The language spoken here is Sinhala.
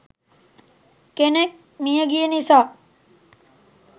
කෙනෙක් මියගිය නිසා.